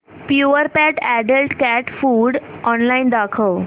Purepet adult cat food online दाखव